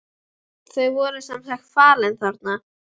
Þau voru sem sagt falin þarna.